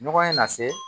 Ɲɔgɔn ye nase